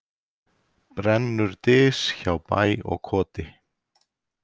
Brennur dys hjá bæ og koti.